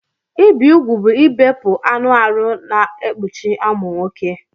Ibi ụgwụ bụ ibepụ anụ arụ na-ekpụchi amụ nwọke.